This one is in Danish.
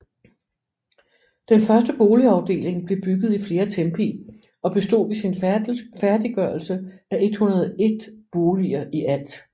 Den første boligafdeling blev bygget i flere tempi og bestod ved sin færdiggørelse af 101 boliger i alt